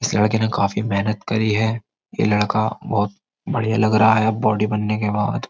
इस लड़के ने काफी मेहनत करी है ये लड़का बहुत बढ़िया लग रहा है अब बॉडी बनने के बाद --